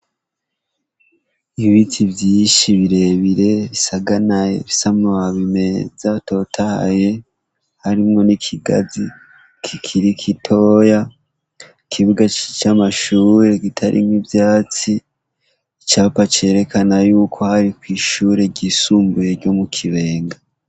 Ibiti vyishi birebire bisaganaye bisamubabime zatotahye harimwo n'ikigazi kikiri kitoya ikibuga c'amashuri gitarinko ivyatsi icapa cerekana yuko hari kw'ishure ryisumbuye ryo mu kibee enga.